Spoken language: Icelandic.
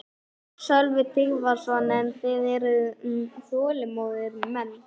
Sölvi Tryggvason: En þið eruð þolinmóðir menn?